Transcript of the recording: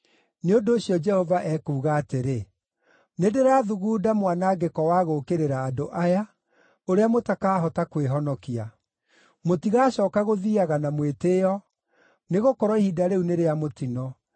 Nĩ ũndũ ũcio, Jehova ekuuga atĩrĩ: “Nĩndĩrathugunda mwanangĩko wa gũũkĩrĩra andũ aya, ũrĩa mũtakahota kwĩhonokia. Mũtigacooka gũthiiaga na mwĩtĩĩo, nĩgũkorwo ihinda rĩu nĩ rĩa mũtino.